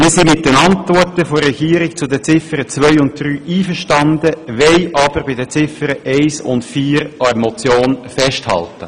Wir sind mit den Antworten der Regierung auf Ziffer 2 und 3 einverstanden, wollen aber bei Ziffer 1 und 4 an der Motion festhalten.